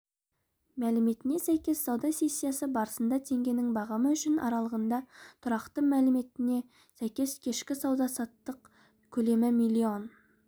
мәліметіне сәйкес сауда сессиясы барысында теңгенің бағамы үшін аралығында тұрақтады мәліметіне сәйкес кешкі сауда-саттық көлемі млн